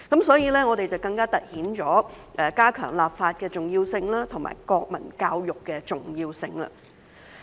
所以，更加凸顯了我們加強立法和推行國民教育的重要性。